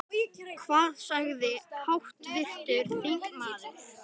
Hvað sagði háttvirtur þingmaður?